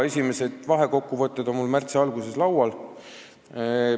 Esimesed vahekokkuvõtted on mul märtsi alguses laual.